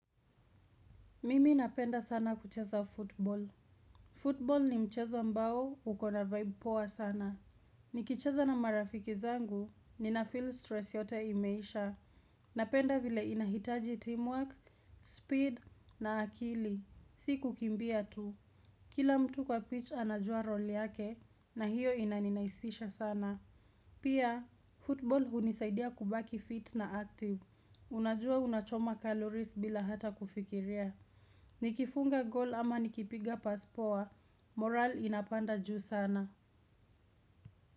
Mimi napenda sana kucheza football. Football ni mchezo ambao, uko na vibe poa sana. Nikicheza na marafiki zangu, ninafeel stress yote imeisha. Napenda vile inahitaji teamwork, speed na akili. Si kukimbia tu. Kila mtu kwa pitch anajua roli yake, na hiyo inaninaisisha sana. Pia, football hunisaidia kubaki fit na active. Unajua unachoma calories bila hata kufikiria. Nikifunga goal ama nikipiga pass poa, morale inapanda juu sana.